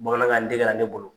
Bamanankan degela ka ne bolo.